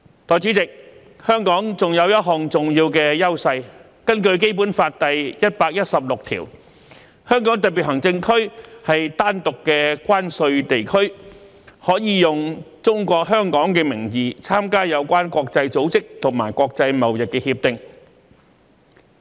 代理主席，香港還有一項重要的優勢，根據《基本法》第一百一十六條，香港特別行政區是單獨的關稅地區，可以"中國香港"的名義參加有關國際組織和國際貿易協定。